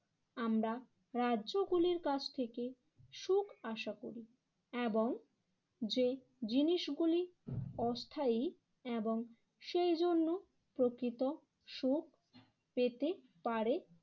আমরা রাজ্যগুলির কাছ থেকে সুখ আশা করি এবং যে জিনিসগুলি অস্থায়ী এবং সেই জন্য প্রকৃত সুখ পেতে পারে